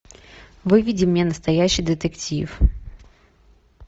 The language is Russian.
выведи мне настоящий детектив